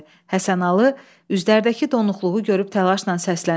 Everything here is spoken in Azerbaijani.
Həsənalı üzlərdəki donuqluğu görüb təlaşla səsləndi.